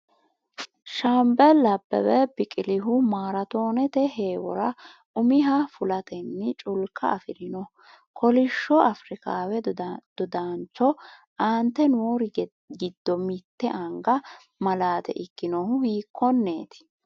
Shaambeli Abbebe Biqilihu maraatoonete heewora umiha fulatenni culka afi’rino kolishsho Afrikaawe dodaanchoo, Aante noori giddo mitte anga malaate ikkinohu hiikkonneti?